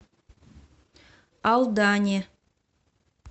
алдане